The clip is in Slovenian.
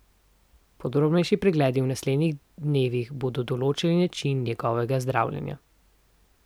Podrobnejši pregledi v naslednjih dnevih bodo določili način njegovega zdravljenja.